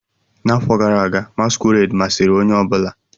N'afọ gara aga, masquerade masịrị onye ọ bụla.